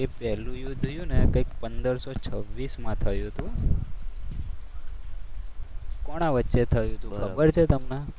એ પહેલું યુદ્ધ થયું ને કંઈક પંદરસો છવ્વીસમાં થયું હતું. કોના વચ્ચે થયું હતું ખબર